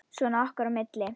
Svona okkar á milli.